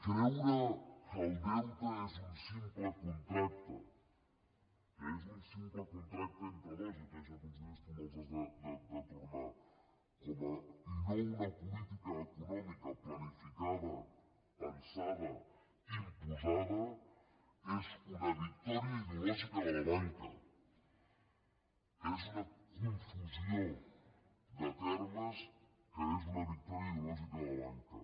creure que el deute és un simple contracte que és un simple contracte entre dos jo t’he deixat uns diners tu me’ls has de tornar i no una política econòmica planificada pensada imposada és una victòria ideològica de la banca és una confusió de termes que és una victòria ideològica de la banca